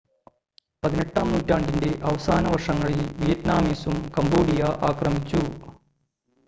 18-ആം നൂറ്റാണ്ടിൻ്റെ അവസാന വർഷങ്ങളിൽ വിയറ്റ്നാമീസും കംബോഡിയ ആക്രമിച്ചു